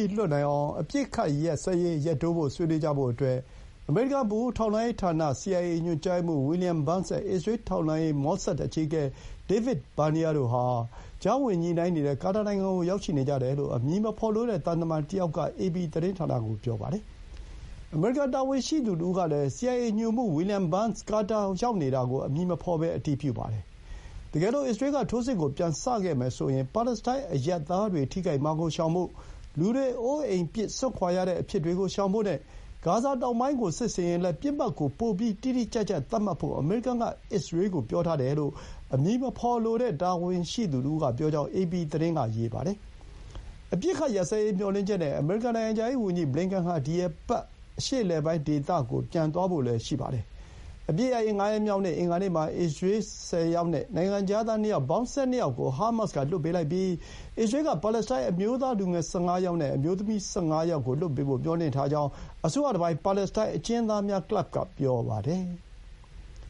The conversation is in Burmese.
ီး လွှတ်နိုင်အောင် အပစ်အခတ်ရပ်စဲရေး ရက်တိုးဖို့ ဆွေးနွေးကြဖို့အတွက် အမေရိကန် ဗဟိုထောက်လှမ်းရေးဌာန စီအိုင်အေ ညွှန်ကြားရေးမှူး ဝီလီယံ ဘန်းစ် (William Burns) နဲ့ အစ္စရေး ထောက်လှမ်းရေး မော့ဆတ်အကြီးအကဲ ဒေးဗစ် ဘာနီးယား (David Barnea) တို့ဟာ ကြားဝင်ညှိနှိုင်းနေတဲ့ ကာတာနိုင်ငံကို ရောက်ရှိနေကြတယ်လို့ အမည်မဖော်လိုတဲ့ သံတမန်တယောက်က အေပီသတင်းဌာနကို ပြောပါတယ်။ အမေရိကန်တာဝန်ရှိသူတဦးကလည်း စီအိုင်အေ ညွှန်မှူး ဝီလီယံ ဘန်းစ် ကာတာ ရောက်နေတာကို အမည်မဖော်ဘဲ အတည်ပြုပါတယ်။ တကယ်လို အစ္စရေးက ထိုးစစ်ကို ပြန်စခဲ့မယ်ဆိုရင် ပါလက်စတိုင်း အရပ်သားတွေ ထိခိုက်မှာကို ရှောင်ဖို့၊ လူတွေ အိုးအိမ်ပစ် စွန့်ခွါရတဲ့အဖြစ်တွေကို ရှောင်ဖို့နဲ့ ဂါဇာတောင်ပိုင်းကို စစ်ဆင်ရင်လည်း ပစ်မှတ်ကို ပိုပြီး တိတိကျကျသတ်မှတ်ဖို့ အမေရိကန်က အစ္စရေးကို ပြောထားတယ်လို့ အမည်မဖော်လိုတဲ့ တာဝန်ရှိသူတဦးက ပြောကြောင်း အေပီသတင်းက ရေးပါတယ်။ အပစ်အခတ်ရပ်စဲရေး မျှော်လင့်ချက်နဲ့ အမေရိကန် နိုင်ငံခြားရေးဝန်ကြီး ဘလင်ကန်ဟာ ဒီ အပတ် အရှေ့အလယ်ပိုင်းဒေသကို ပြန်သွားဖို့လည်း ရှိပါတယ်။ အပစ်ရပ်ရေး ငါးရက်မြောက် အင်္ဂါနေ့မှာ အစ္စရေး ၁၀ ယောက်နဲ့ နိုင်ငံခြားသား ၂ ယောက်၊ ပေါင်း ၁၂ ယောက်ကို ဟားမတ်စ်က လွှတ်ပေးလိုက်ပြီး အစ္စရေးက ပါလက်စတိုင်းအမျိုးသား လူငယ် ၁၅ ယောက်နဲ့ အမျိုးသမီး ၁၅ ယောက်ကို လွှတ်ပေးဖို့ မျှော်လင့်ထားကြောင်း အစိုးရတပိုင်း ပါလက်စတိုင်း အကျဥ်းသားများကလပ်က ပြောပါတယ်။